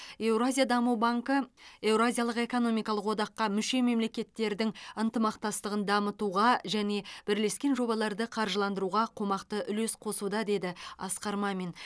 евразия даму банкі еуразиялық экономикалық одаққа мүше мемлекеттердің ынтымақтастығын дамытуға және бірлескен жобаларды қаржыландыруға қомақты үлес қосуда деді асқар мамин